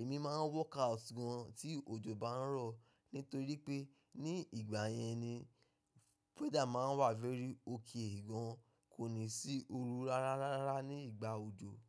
Èmi máa ń workout gan tí òjò bá ń rọ̀ nítorí pé ní ìgbà yẹn ni weather máa ń wà very okay gan, kò ní sí oru rárá rárá ní ìgbà òjò.